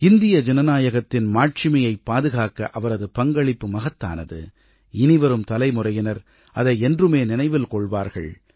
இந்திய ஜனநாயகத்தின் மாட்சிமையைப் பாதுகாக்க அவரது பங்களிப்பு மகத்தானது இனிவரும் தலைமுறையினர் அதை என்றுமே நினைவில் கொள்வார்கள்